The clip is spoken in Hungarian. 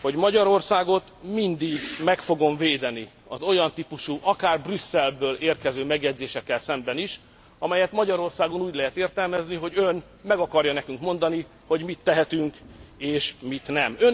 hogy Magyarországot mindig meg fogom védeni az olyan típusú, akár Brüsszelből érkező megjegyzésekkel szemben is, amelyet Magyarországon úgy lehet értelmezni, hogy ön meg akarja nekünk mondani, hogy mit tehetünk és mit nem.